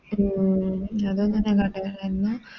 ഉം അതൊന്നും ഞാൻ കണ്ടിന്നില്ലന്നു